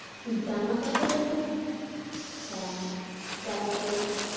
জামাকাপড়ের খুব ইচ্ছা আমার জামাকাপড়ের